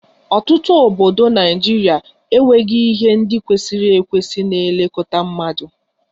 Ọtụtụ obodo Naịjirịa enweghị ihe ndị kwesịrị ekwesị na-elekọta mmadụ